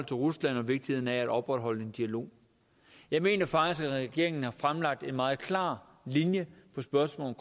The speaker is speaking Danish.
til rusland og vigtigheden af at opretholde en dialog jeg mener faktisk at regeringen har lagt en meget klar linje i spørgsmålet